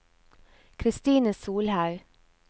Kristine Solhaug